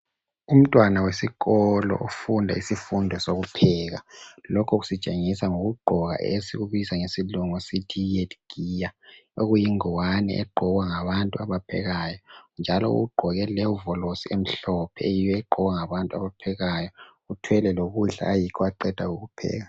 Umntwana wesikolo ufunda isifundo sokupheka. Lokhu kusitshengisa ngokugqoka esikubiza ngesilungu sithi yi head gear, okuyingwane egqokwa ngabantu abaphekayo , njalo ugqoke ihofolosi emhlophe eyiyo egqokwa ngabantu abaphekayo. Uthwele lokudla ayikho aqeda kukupheka.